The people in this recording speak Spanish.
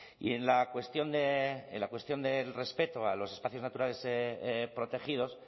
y en la cuestión del respeto a los espacios naturales protegidos